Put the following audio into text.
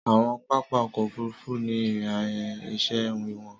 Àwọn pápá ọkọ ofurufu ni ìrìn ísẹ wiwọn.